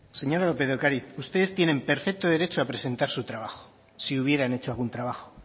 señora lópez de ocariz ustedes tienen perfecto derecho a presentar su trabajo si hubieran hecho algún trabajo